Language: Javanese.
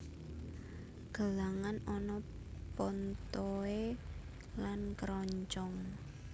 Gelangan ana pontohé lan kêroncong